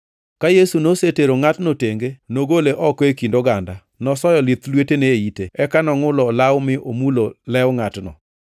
Ka Yesu nosetero ngʼatno tenge, kogole oko e kind oganda, nosoyo lith lwetene e ite. Eka nongʼulo olawo mi omulo lew ngʼatno.